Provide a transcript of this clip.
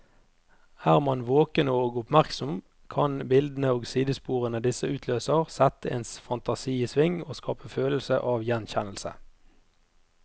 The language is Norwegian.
Er man våken og oppmerksom, kan bildene og sidesporene disse utløser, sette ens fantasi i sving og skape følelse av gjenkjennelse.